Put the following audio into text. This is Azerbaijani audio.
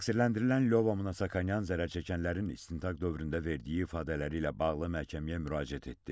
Təqsirləndirilən Lyova Monasakyann zərər çəkənlərin istintaq dövründə verdiyi ifadələri ilə bağlı məhkəməyə müraciət etdi.